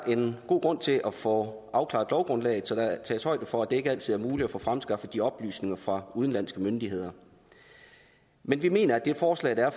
en god grund til at få afklaret lovgrundlaget så der tages højde for at det ikke altid er muligt at få fremskaffet de oplysninger fra udenlandske myndigheder men vi mener at det forslag der er